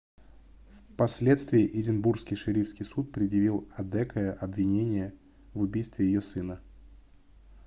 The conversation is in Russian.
впоследствии эдинбургский шерифский суд предъявил адекое обвинение в убийстве ее сына